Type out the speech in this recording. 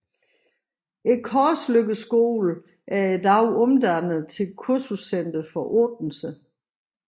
Korsløkkeskolen er i dag omdannet til kursuscenter for Odense